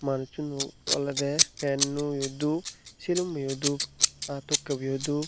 manuchun o olode pant o u dhub silummu o dhup aa tokki bu o dhub.